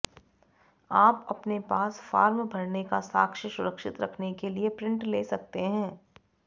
आप अपने पास फार्म भरने का साक्ष्य सुरक्षित रखने के लिए प्रिंट ले सकते हैं